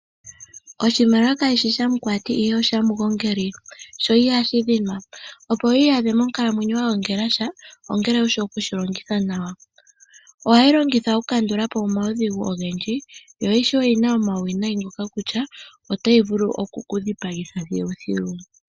Oshimaliwa kashishi shamukwati, ihe oshamugongeli, sho ihashi dhinwa. Opo wu iyadhe monkalamwenyo wa gongela sha, ongele wushi oku shi longitha nawa. Ohayi longithwa oku kandula po omaudhigu ogendji, yo ishewe oyina omauwinayi ngoka kutya otayi vulu oku ku dhipagitha thiluthilu.